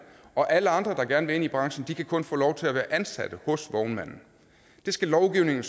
og alle andre der gerne vil ind i branchen kan kun få lov til at være ansatte hos vognmanden lovgivningen